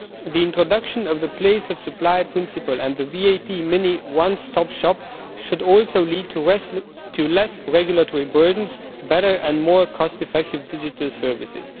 The introduction of the place of supply principle and the VAT mini one stop shop should also lead to less regulatory burdens, better and more cost effective digital services.